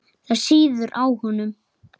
Það sýður á honum.